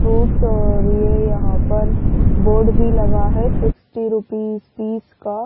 Fruits और ये यहां पर बोर्ड भी लगा है सिक्सटी रूपीज पीस का।